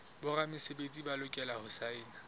boramesebetsi ba lokela ho saena